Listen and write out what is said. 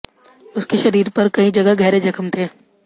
उसके शरीर पर कई जगह गहरे जख्म थे